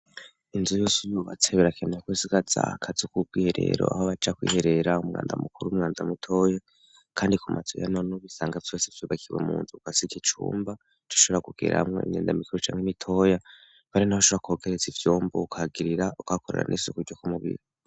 Inzu yose uyubatseberakenekosiga zahakazi k'ubwo ihe rero aho baca kwiherera umwanda mukuru w'umwanda mutoya, kandi ku mazoya none ubisanga vyose vyubakiwe mu nzuka si iki cumba c ushobra kugera hamwo inyenda mikoru canke n'itoya bari, naho shora kogerezsa ivyomba ukagirira ugakorara n'esukurya kumubiri.